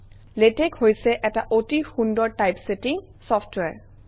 LaTeX হৈছে এটা অতি সুন্দৰ টাইপছেটিং চফটৱেৰ